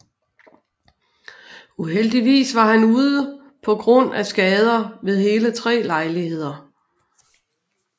Uheldigvis var han ude på grund af skader ved hele tre lejligheder